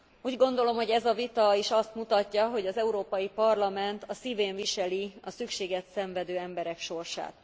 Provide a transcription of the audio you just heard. Úgy gondolom, hogy ez a vita is azt mutatja, hogy az Európai Parlament a szívén viseli a szükséget szenvedő emberek sorsát.